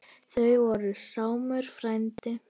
Það var Sámur frændi.